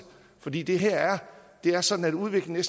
fordi det her er er sådan at udviklingen